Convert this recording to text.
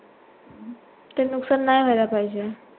ते नुकसान नाही व्हायला पाहिजे